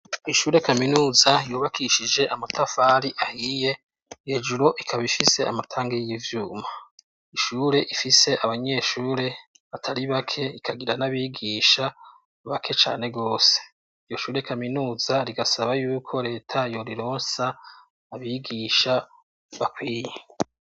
Ishure kaminuza yubakishije amatafari ahiye hejuru ikaba ifise amatanga y'ivyuma ishure ifise abanyeshure batari bake ikagira n'abigisha bake cane rwose. Iyo shure kaminuza rigasaba yuko leta yorironsa abigisha bakwiye.